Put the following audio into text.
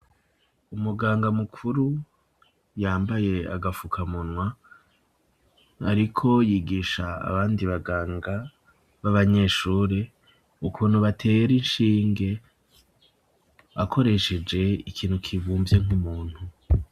Umuganga mukuru yambaye agafuka munwa ariko yigisha abandi baganga b'abanyeshuri ukuntu batera inshinge akoresheje ikintu kivumbye nk'umuntu.